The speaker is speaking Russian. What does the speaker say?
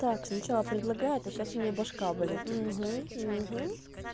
так сначала предлагает а сейчас у неё башка болит угу